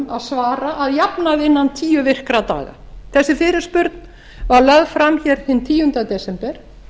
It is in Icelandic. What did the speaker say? að svara að jafnaði innan tíu virkra daga þessi fyrirspurn var lögð fram hér hinn tíunda desember